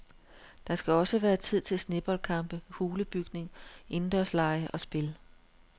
Der skal også være tid til sneboldkampe, hulebygning, indendørslege og spil.